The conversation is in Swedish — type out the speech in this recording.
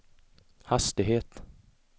hastighet